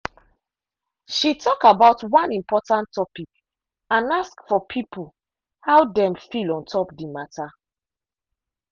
she talk about one important topic and ask for people how dem feel ontop the matter.